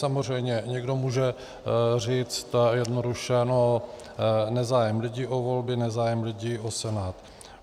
Samozřejmě někdo může říct jednoduše: nezájem lidí o volby, nezájem lidí o Senát.